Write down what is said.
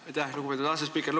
Aitäh, lugupeetud asespiiker!